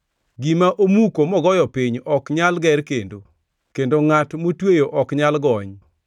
Gima omuko mogoyo piny ok nyal ger kendo; kendo ngʼat motweyo ok nyal gony.